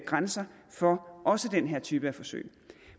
grænser for også den her type af forsøg